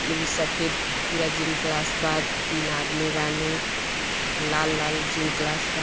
लु सफ़ेद पुरा जिम क्लास बा तीन आदमी बाने और लाल लाल जिम क्लास बा।